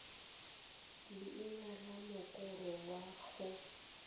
leina la mokoro wa go